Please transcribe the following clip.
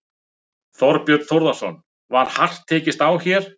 Þorbjörn Þórðarson: Var hart tekist á hér?